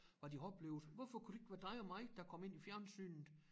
Hvad de har oplevet hvorfor kunne det ikke være dig og mig der kom ind i fjernsynet